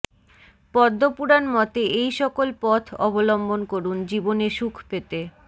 পদ্মপুরাণ মতে এই সকল পথ অবলম্বন করুন জীবনে সুখ পেতে